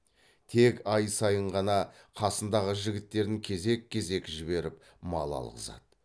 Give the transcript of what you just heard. тек ай сайын ғана қасындағы жігіттерін кезек кезек жіберіп мал алғызады